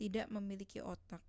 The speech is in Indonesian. tidak memiliki otak